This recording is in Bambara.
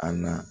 A na